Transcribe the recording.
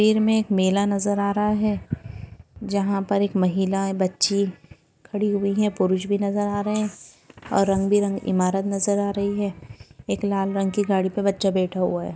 वीर मे एक मेला नजर आ रहा है जाहा पर एक महिलाये बच्ची खडी हुई है पुरुष भी नजर आ रहे है और रंगबी रंगी इमारत नजर आ रही है एक लाल रंग कि गाडी पर बचा बैठा हुआ है।